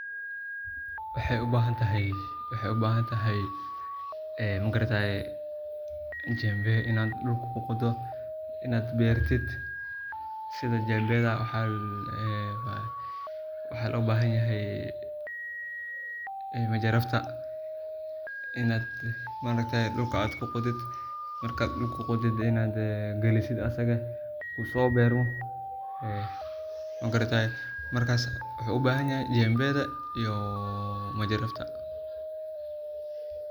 Waxeu u bahan tahay jembe inaad dhulka kuqodo inaad bertid sidha jembeda ,waxa loo bahan yahay majarafta inaad maaragtaye dhulka aad ku qodid ,galisid asaga uso bermo ,maaragtaye wuxu u bahan yahay jembeda iyo majarafta.